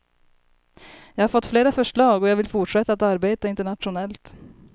Jag har fått flera förslag, och jag vill fortsätta att arbeta internationellt.